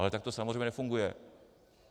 Ale tak to samozřejmě nefunguje.